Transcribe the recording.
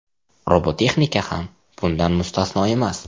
Robototexnika ham bundan mustasno emas.